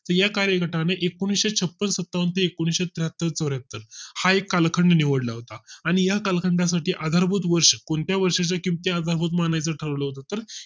तर या कार्यगटाने एकुणिशे छप्पन्न सत्तावन्न ते एकुणिशे त्र्याहत्तर चौर्‍याहत्तर हा एक कालखंड निवडला होता आणि या कालखंडा साठी आधार भूत वर्ष कोणत्या वर्षीच्या किमती आधारभूत मानायच ठरविले होते तर